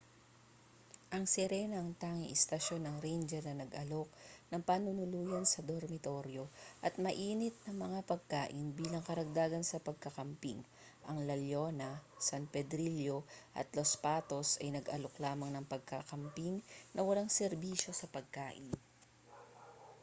ang sirena ang tanging istasyon ng ranger na nag-aalok ng panunuluyan sa dormitoryo at mainit na mga pagkain bilang karagdagan sa pagka-camping ang la leona san pedrillo at los patos ay nag-aalok lamang ng pagkakamping na walang serbisyo sa pagkain